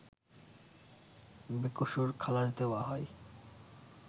বেকসুর খালাশ দেওয়া হয়